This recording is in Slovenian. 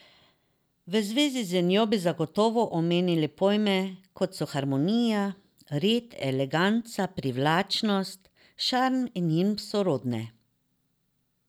V zvezi z njo bi zagotovo omenili pojme, kot so harmonija, red, eleganca, privlačnost, šarm in njim sorodne.